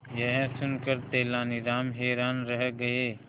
यह सुनकर तेनालीराम हैरान रह गए